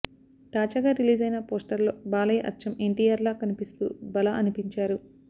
తాజాగా రిలీజైన పోస్టర్లో బాలయ్య అచ్చం ఎన్టీఆర్లా కనిపిస్తూ భళా అనిపించారు